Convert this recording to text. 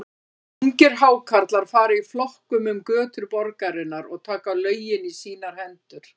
Ungir Hákarlar fara í flokkum um götur borgarinnar og taka lögin í sínar hendur.